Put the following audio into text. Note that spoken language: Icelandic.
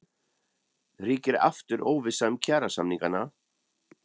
Ríkir aftur óvissa um kjarasamningana?